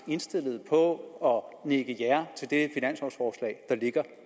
indstillet på at nikke ja til det finanslovforslag der ligger